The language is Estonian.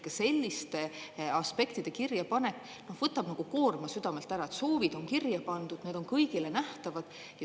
Ka selliste aspektide kirjapanek võtab koorma südamelt ära: soovid on kirja pandud, need on kõigile nähtavad.